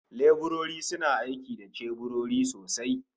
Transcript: Leburori suna aiki da ceburori sosai